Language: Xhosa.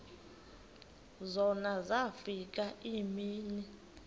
zona zafika iimini